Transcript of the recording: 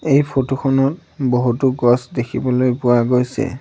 এই ফটো খনত বহুতো গছ দেখিবলৈ পোৱা গৈছে।